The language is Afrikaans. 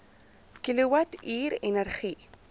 kilowatt uur energie